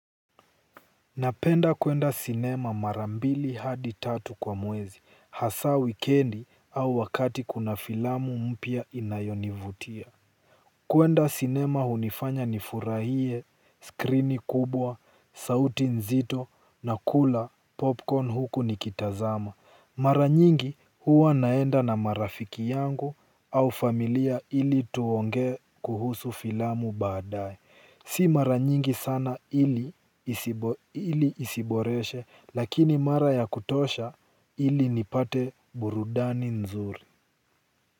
Napenda kuenda cinema mara mbili hadi tatu kwa mwezi, hasa wikendi au wakati kuna filamu mpya inayonivutia. Kuenda sinema hunifanya nifurahie, skrini kubwa, sauti nzito, nakula, popcorn huku nikitazama. Mara nyingi huwa naenda na marafiki yangu au familia ili tuongee kuhusu filamu baadaye. Si mara nyingi sana ili isibo ili isiboreshe lakini mara ya kutosha ili nipate burudani nzuri.